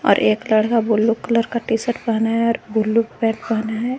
और एक लड़का ब्लू कलर का टी_शर्ट पहना है और ब्लू पैंट पहना है।